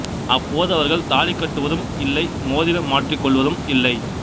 அப்போது அவர்கள் தாலி கட்டுவதும் இல்லை மோதிரம் மாற்றிக் கொள்வதும் இல்லை